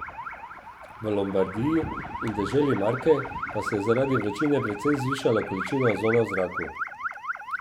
V Lombardiji in deželi Marke pa se je zaradi vročine precej zvišala količina ozona v zraku.